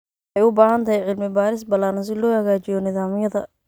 Waxay u baahan tahay cilmi-baaris ballaaran si loo hagaajiyo nidaamyada.